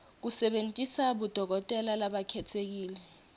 kusebentisa bodokotela labakhetsekile